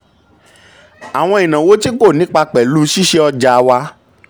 àwọn ìnáwó tí kò nípa pẹ̀lú ṣíṣe ọjà wà.